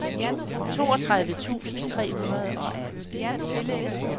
toogtredive tusind tre hundrede og atten